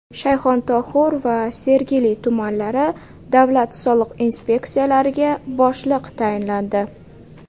Shayxontohur va Sergeli tumanlari davlat soliq inspeksiyalariga boshliq tayinlandi.